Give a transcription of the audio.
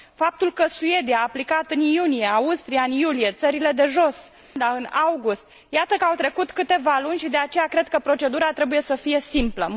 Faptul că Suedia a aplicat în iunie, Austria în iulie, Țările de Jos în august, iată că au trecut câteva luni și, de aceea, cred că procedura trebuie să fie simplă